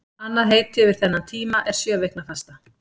Annað heiti yfir þennan tíma er sjöviknafasta.